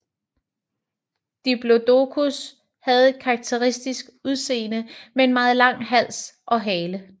Diplodocus havde et karakteristisk udseende med en meget lang hals og hale